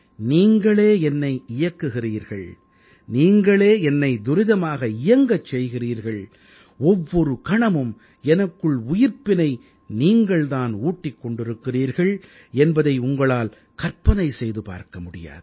நீங்களே என்னை இயக்குகிறீர்கள் நீங்களே என்னை துரிதமாக இயங்கச் செய்கிறீர்கள் ஒவ்வொரு கணமும் எனக்குள் உயிர்ப்பினை நீங்கள் தான் ஊட்டிக் கொண்டிருக்கிறீர்கள் என்பதை உங்களால் கற்பனை செய்து பார்க்க முடியாது